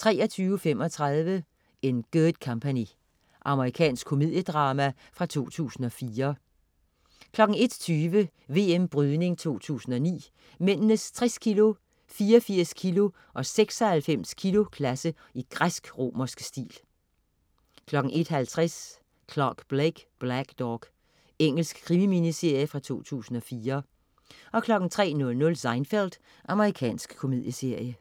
23.35 In Good Company. Amerikansk komediedrama fra 2004 01.20 VM Brydning 2009. Mændenes 60 kg-, 84 kg- og 96 kg-klasse i græsk-romerske stil 01.50 Clare Blake: Blackdog. Engelsk krimi-miniserie fra 2004 03.00 Seinfeld. Amerikansk komedieserie